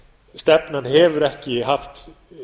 stefnan hefur ekki haft